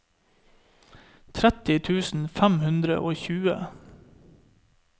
tretti tusen fem hundre og tjue